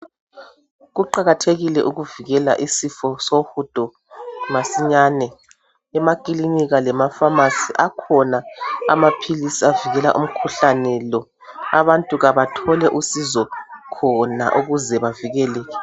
Kuqakathekile ukuvikela isifo sohludo masinyane emakilinika lemafamasi akhona amaphilisi avikela umkhuhlane lo abantu kabathole usizo khona ukuze bavikeleke.